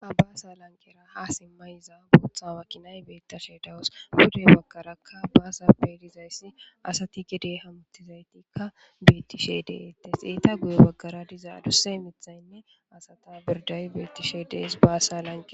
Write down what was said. Ha baasa lanqera ha simmayiza booththa wa kinay beettashe dawus guday bakarakka baasappe dizayssi asati gedey hamuttizaytikka beettishe deeettes eeta guye baggara diza aduse mithaynne asata birday beettishe dees baasa lanqe.